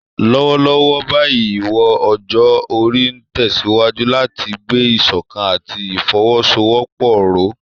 Lọ́wọ́lọ́wọ́ báyìí, ìwọ̀n ọjọ́ orí ń tẹ̀síwájú láti gbé ìṣọ̀kan àti ìfọwọ́sowọ́pọ̀ ró.